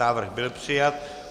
Návrh byl přijat.